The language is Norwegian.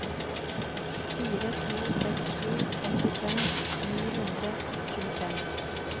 fire to seks sju femtifem ni hundre og tjuefem